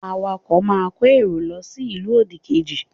Awakọ̀ máa kó èrò lọ sí ìlú òdì kejì